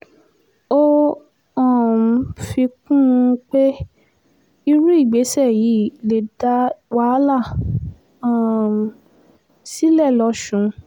ó um fi kún un pé irú ìgbésẹ̀ yìí lè dá wàhálà um sílẹ̀ lọ́sùn